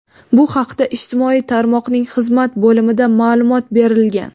Bu haqda ijtimoiy tarmoqning xizmat bo‘limida ma’lumot berilgan.